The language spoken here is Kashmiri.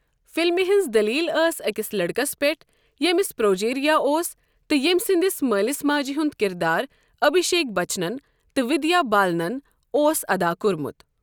فلمہِ ہنٛز دلیٖل ٲس أکِس لڑکَس پٮ۪ٹھ ییمِس پروجیریا اوس تہٕ ییمۍ سنٛدس مٲلِس ماجہِ ہُنٛد کردار ابھیشیک بچنَن تہٕ ودیا بالنَن اوس ادا کوٚرمُت۔